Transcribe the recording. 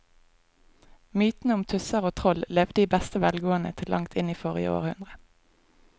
Mytene om tusser og troll levde i beste velgående til langt inn i forrige århundre.